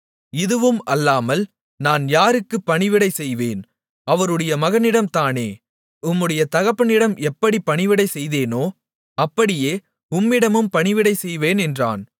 இதுவும் அல்லாமல் நான் யாருக்கு பணிவிடை செய்வேன் அவருடைய மகனிடம் தானே உம்முடைய தகப்பனிடம் எப்படி பணிவிடை செய்தோனோ அப்படியே உம்மிடமும் பணிவிடை செய்வேன் என்றான்